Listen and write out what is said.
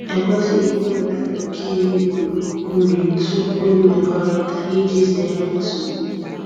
E kwesịghị ịnyefe oke ehi nri tupu imrkọrịta iji zere nsogbu.